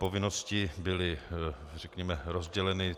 Povinnosti byly, řekněme, rozděleny.